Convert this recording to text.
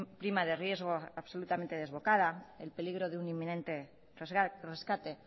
prima de riesgo absolutamente desbocada el peligro de un inminente rescate